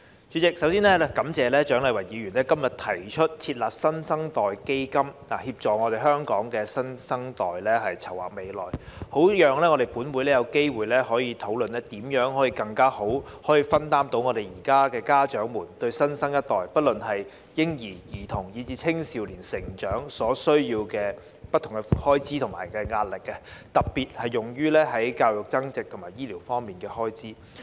主席，首先我要感謝蔣麗芸議員今天提出"設立新生代基金，協助香港新生代籌劃未來"議案，讓立法會有機會討論如何適當分擔現今家長對新生代——不論是嬰兒、兒童以至青少年——成長所需要面對的開支和壓力，特別是教育增值及醫療方面的開支。